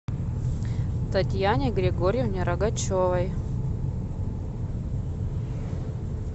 татьяне григорьевне рогачевой